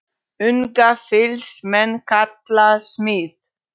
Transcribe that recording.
Unga fýls menn kalla smið.